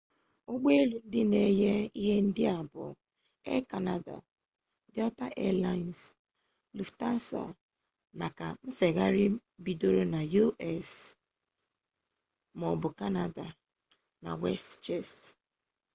ụgbọelu ndị na enye ihe ndị a bụ air kanada delta air laịns luftansa maka nfegharị bidoro na u.s. maọbụ kanada na westjet